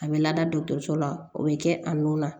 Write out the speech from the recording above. A bɛ lada dɔkɔtɔrɔso la o bɛ kɛ a nun na